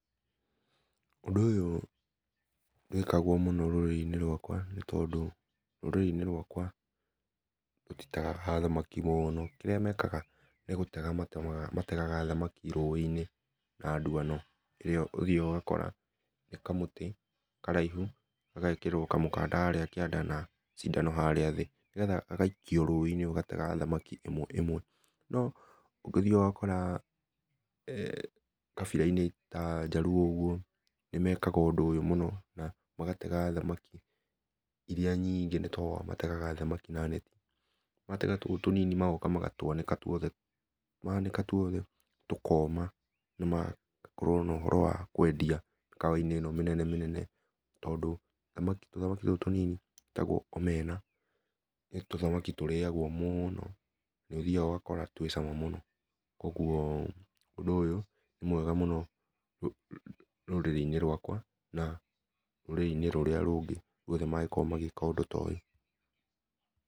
Ũndũ ũyũ, ndwĩkagwo mũno rũrĩrĩ-inĩ rwakwa ,nĩ tondũ rũrĩrĩ-inĩ rwakwa rũtitegaga thamaki mũno, kĩrĩa mekaga nĩ gũtega mategaga thamakĩ rũĩ-inĩ na ndwano, nĩ ũthĩaga ũgakora nĩ kamũtĩ karaihũ gagekĩrwo kamũkanda harĩa kĩanda na cĩndano harĩa thĩ, nĩgetha gagaĩkio rũĩ-inĩ gagatega thamakĩ ĩmwe ĩmwe, no nĩ ũthĩaga ũgakora eeh kabĩra-inĩ ta njaruo ũguo nĩmekaga ũndũ ũyũ mũno, magatega thamakĩ irĩa nyingĩ nĩ tondũ nĩmategaga thamakĩ na netĩ. Magatega tũu tũnini magoka magatwanĩka, manĩka tũothe tũkoma na magagĩkorwo no ũhoro wa kũendĩa mĩkawa inĩ ĩno mĩnene mĩnene tondũ tũthamakĩ tũtũ tũnini twĩtagwo omena, nĩ tũthamaki tũrĩagwo mũno, nĩ ũthiaga ũgakora twĩcama mũno, kogwo ũndũ ũyũ nĩ mwega mũno rũrĩrĩ-inĩ rwakwa na rũrĩrĩ-inĩ rũrĩa rũngĩ rũothe mangĩkorwa magĩka ũndũ ta ũyũ.